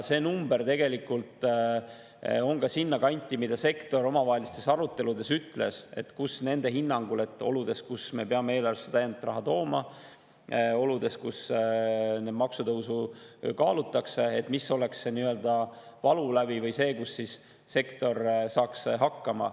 See number tegelikult on ka sinna kanti, mille kohta sektor omavahelistes aruteludes on öelnud, et selline on nende hinnangul oludes, kus me peame eelarvesse täiendavat raha tooma ja kus maksutõusu kaalutakse, nii‑öelda valulävi või see, millega sektor saaks hakkama.